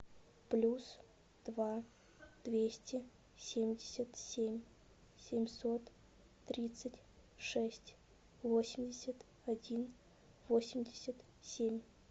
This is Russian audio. плюс два двести семьдесят семь семьсот тридцать шесть восемьдесят один восемьдесят семь